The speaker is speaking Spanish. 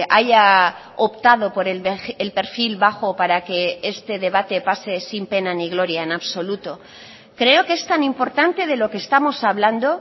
haya optado por el perfil bajo para que este debate pase sin pena ni gloria en absoluto creo que es tan importante de lo que estamos hablando